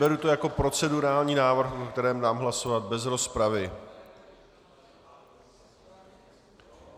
Beru to jako procedurální návrh, o kterém dám hlasovat bez rozpravy.